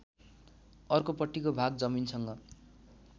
अर्कोपट्टिको भाग जमिनसँग